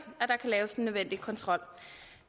at der kan laves den nødvendige kontrol